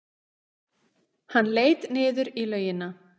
Hann leit niður í laugina.